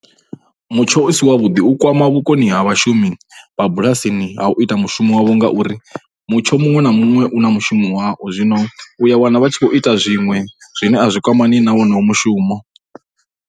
Mutsho u si wavhuḓi u kwama vhukoni ha vhashumi vha bulasini ha u ita mushumo wavho ngauri mutsho muṅwe na muṅwe u na mushumo wao. Zwino u ya wana vha tshi khou ita zwiṅwe zwine a zwi kwamani na wonoyo mushumo.